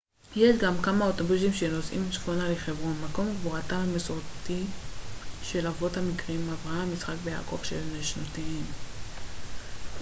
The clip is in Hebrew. יש גם כמה אוטובוסים שנוסעים צפונה לחברון מקום קבורתם המסורתי של האבות המקראיים אברהם יצחק ויעקב ושל נשותיהם